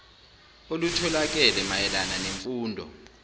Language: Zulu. olutholakele mayela nemfundo